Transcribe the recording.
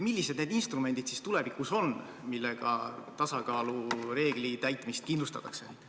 Millised need instrumendid tulevikus on, millega tasakaalureegli täitmist kindlustatakse?